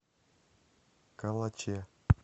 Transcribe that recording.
калаче